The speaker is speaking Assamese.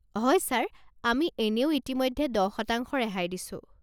হয় ছাৰ আমি এনেও ইতিমধ্যে দহ শতাংশ ৰেহাই দিছোঁ।